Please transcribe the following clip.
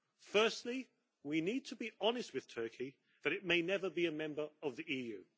Firstly, we need to be honest with Turkey that it may never be a member of the EU.